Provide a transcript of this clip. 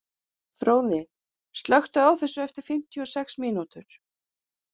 Fróði, slökktu á þessu eftir fimmtíu og sex mínútur.